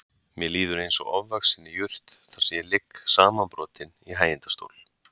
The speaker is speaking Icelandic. Mér líður eins og ofvaxinni jurt þar sem ég ligg samanbrotinn í hægindastól.